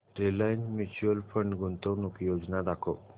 Reliance mutual fund गुंतवणूक योजना दाखव